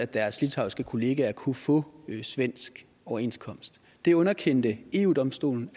deres litauiske kollegaer kunne få en svensk overenskomst det underkendte eu domstolen